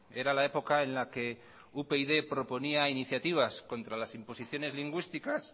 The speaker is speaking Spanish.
era la época en la que upyd proponía iniciativas contra las imposiciones lingüísticas